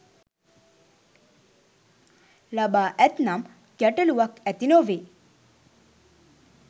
ලබා ඇත්නම් ගැටලුවක් ඇති නොවේ.